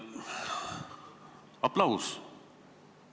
Aplaus!